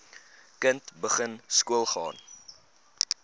kind begin skoolgaan